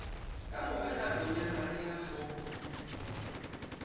kamore nakong ya mariha ho